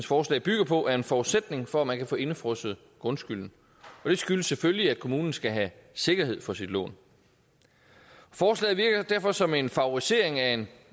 forslag bygger på er en forudsætning for at man kan få indefrosset grundskylden det skyldes selvfølgelig at kommunen skal have sikkerhed for sit lån forslaget virker derfor som en favorisering af en